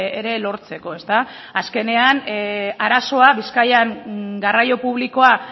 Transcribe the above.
ere lortzeko azkenean arazoa bizkaian garraio publikoa